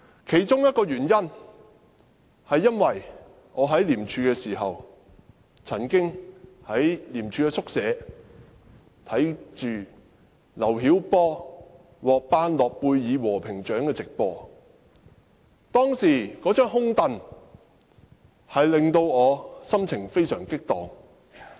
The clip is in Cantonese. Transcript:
其中一個原因是，我曾經在廉署宿舍觀看劉曉波獲頒諾貝爾和平獎的電視直播，那張"空櫈"令我心情激盪。